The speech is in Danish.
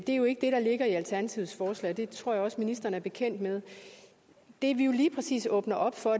er jo ikke det der ligger i alternativets forslag og det tror jeg også ministeren er bekendt med det vi jo lige præcis åbner op for